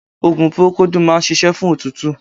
Ogun porokodu máa ń ṣíṣe fún òtútù